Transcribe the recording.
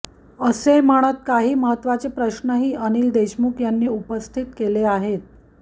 असे म्हणत काही महत्वाचे प्रश्नही अनिल देशमुख यांनी उपस्थित केले आहेत